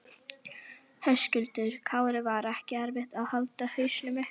Höskuldur Kári: Var ekki erfitt að halda hausnum uppi?